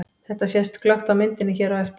Þetta sést glöggt á myndinni hér á eftir.